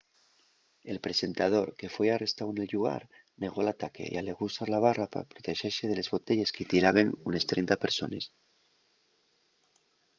el presentador que foi arrestáu nel llugar negó l'ataque y alegó usar la barra pa protexese de les botelles que-y tiraben unes 30 persones